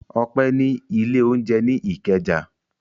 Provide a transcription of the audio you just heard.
Ọpẹ́ ní ilé-oúnjẹ ní Ìkẹjà.